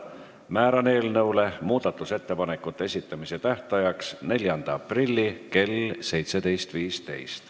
Määran eelnõule muudatusettepanekute esitamise tähtajaks 4. aprilli kell 17.15.